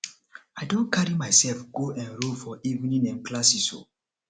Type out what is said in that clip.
i don carry myself go enrol for evening um classes o